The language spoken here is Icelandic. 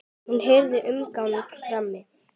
Hún heyrir umgang frammi.